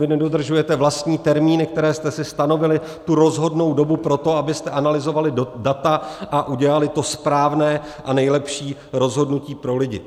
Vy nedodržujete vlastní termíny, které jste si stanovili, tu rozhodnou dobu pro to, abyste analyzovali data a udělali to správné a nejlepší rozhodnutí pro lidi.